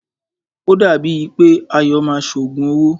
O dàbí è pé Ayọ̀ máa ṣe òògùn owó.